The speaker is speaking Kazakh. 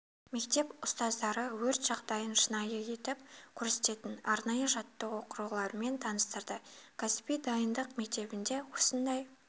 мектеп ұстаздары өрт жағдайын шынайы етіп көрсететін арнайы жаттығу құрылғыларымен таныстырды кәсіби дайындық мектебінде осындай